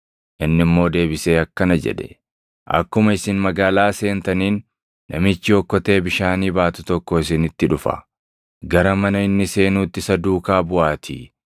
Inni immoo deebisee akkana jedhe; “Akkuma isin magaalaa seentaniin, namichi okkotee bishaanii baatu tokko isinitti dhufa. Gara mana inni seenuutti isa duukaa buʼaatii,